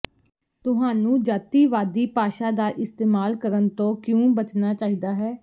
ਤੁਹਾਨੂੰ ਜਾਤੀਵਾਦੀ ਭਾਸ਼ਾ ਦਾ ਇਸਤੇਮਾਲ ਕਰਨ ਤੋਂ ਕਿਉਂ ਬਚਣਾ ਚਾਹੀਦਾ ਹੈ